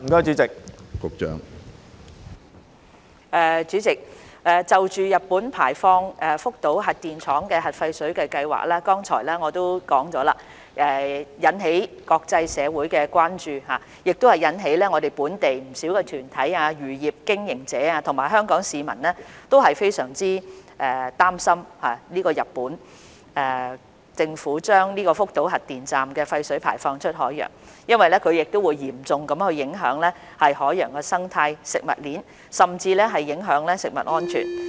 主席，我剛才已經表示，日本排放福島核電站核廢水的計劃不但引起國際社會的關注，亦令本地不少團體、漁業經營者及香港市民都非常擔心，因為日本政府將福島核電站廢水排放出海洋，會嚴重影響海洋生態、食物鏈，甚至影響人類健康。